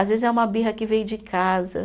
Às vezes é uma birra que veio de casa.